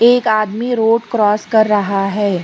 एक आदमी road cross कर रहा है।